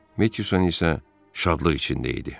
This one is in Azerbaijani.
Metyusan isə şadlıq içində idi.